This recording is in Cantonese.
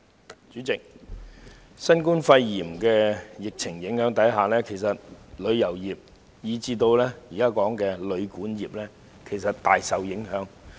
代理主席，在新冠肺炎疫情影響下，旅遊業及現時所討論的旅館業其實大受影響。